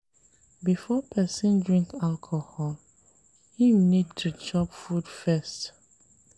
Before person drink alcohol im need to chop food first